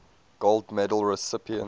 gold medal recipients